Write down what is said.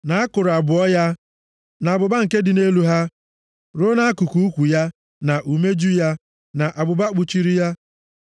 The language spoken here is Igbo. na akụrụ abụọ ya, na abụba nke dị nʼelu ha, ruo nʼakụkụ ukwu ya, na umeju ya, na abụba kpuchiri ya.